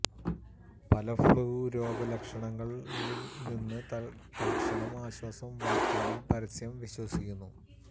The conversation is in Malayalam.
പല ഫ്ലൂ രോഗലക്ഷണങ്ങൾ നിന്ന് തൽക്ഷണം ആശ്വാസം വാഗ്ദാനം പരസ്യം വിശ്വസിക്കുന്നു